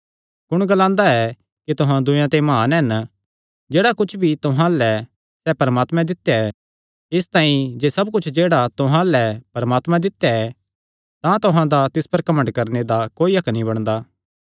कुण ग्लांदा ऐ कि तुहां दूयेयां ते म्हान हन जेह्ड़ा कुच्छ भी तुहां अल्ल ऐ सैह़ परमात्मैं दित्या ऐ इसतांई जे सब कुच्छ जेह्ड़ा तुहां अल्ल ऐ परमात्मैं दित्या ऐ तां तुहां दा तिस पर घमंड करणे दा कोई हक्क नीं बणदा